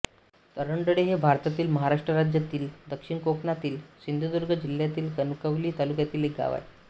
तरंडळे हे भारतातील महाराष्ट्र राज्यातील दक्षिण कोकणातील सिंधुदुर्ग जिल्ह्यातील कणकवली तालुक्यातील एक गाव आहे